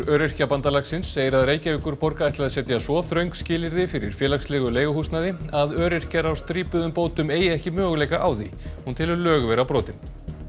Öryrkjabandalagsins segir að Reykjavíkurborg ætli að setja svo þröng skilyrði fyrir félagslegu leiguhúsnæði að öryrkjar á strípuðum bótum eigi ekki möguleika á því hún telur lög vera brotin